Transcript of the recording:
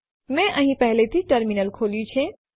મેં અહીં પહેલેથી જ ટર્મિનલ ખોલ્યું છે